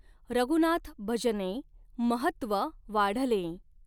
रघुनाथभजनें महत्व वाढलें।